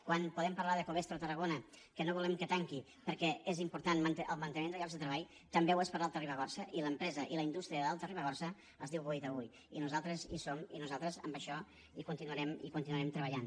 quan podem parlar de covestro a tarragona que no volem que tanqui perquè és important el manteniment de llocs de treball també ho és per a l’alta ribagorça i l’empresa i la indústria de l’alta ribagorça es diu boí taüll i nosaltres hi som i nosaltres en això hi continuarem treballant